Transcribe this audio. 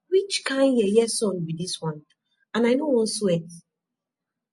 which kin yeye sun be dis one and i no wan sweat